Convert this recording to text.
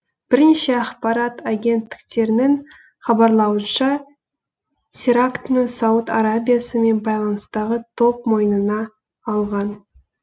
бірнеше ақпарат агенттіктерінің хабарлауынша терактіні сауд арабиясымен байланыстағы топ мойнына алған